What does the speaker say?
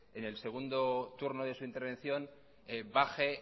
en el segundo turno de su intervención baje